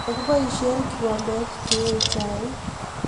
Kagiboishe kikombet ke ee chaik